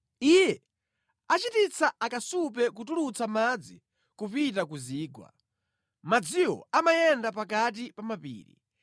Iye achititsa akasupe kutulutsa madzi kupita ku zigwa; madziwo amayenda pakati pa mapiri.